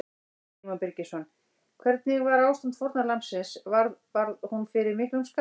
Símon Birgisson: Hvernig var ástand fórnarlambsins, varð, varð hún fyrir miklum skaða?